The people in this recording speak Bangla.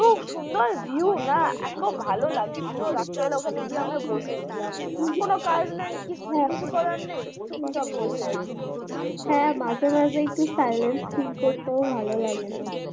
খুব সুন্দর view না এতো ভালো লাগছিলো রাত্রীবেলা আমরা ওখানে গিয়ে বসে ছিলাম কোনোকাজ নেই কিছু করার নেই চুপ চাপ বসে আছি beach হ্যাঁ মাঝে মাঝে একটু feel করতেও ভালো লাগে তো